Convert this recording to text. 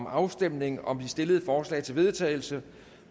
afstemning om det stillede forslag til vedtagelse